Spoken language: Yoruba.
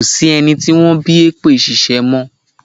Ko sí ẹni tí wọ́n bí èpè ṣíṣẹ́ mọ́.